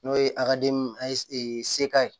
N'o ye sega ye